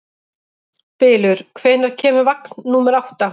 Bylur, hvenær kemur vagn númer átta?